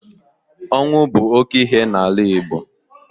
Ọnwụ bụ oke ihe n'ala Igbo.